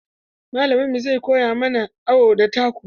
Malaminmu zai koya mana awo da taku.